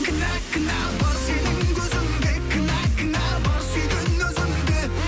кінә кінә бар сенің көзіңде кінә кінә бар сүйген өзімде